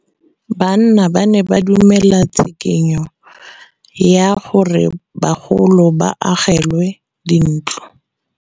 Banna ba ne ba dumela tshikinyô ya gore bagolo ba agelwe dintlo.